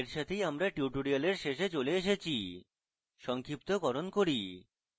এই সাথেই আমরা tutorial শেষে চলে এসেছি সংক্ষিপ্তকরণ করি